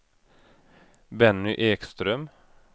Benny Ekström